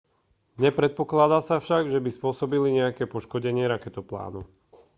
nepredpokladá sa však že by spôsobili nejaké poškodenie raketoplánu